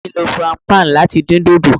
Aunty mi lo frying pan lati din dodo